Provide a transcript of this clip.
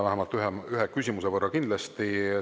Vähemalt ühe küsimuse saab kindlasti esitada.